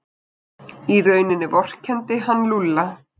Í rauninni vorkenndi hann Lúlla.